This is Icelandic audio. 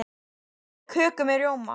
Ég borða köku með rjóma.